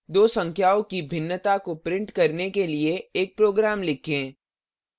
दो संख्याओं की भिन्नता को print करने के लिए एक program लिखें